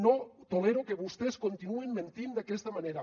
no tolero que vostès continuïn mentint d’aquesta manera